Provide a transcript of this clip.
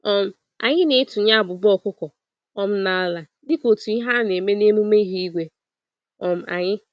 um Anyị na-etunye abụba ọkụkọ um n'ala dịka otú Ihe a-neme n'emume ihu igwe um anyị.